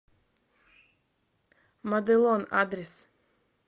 моделон адрес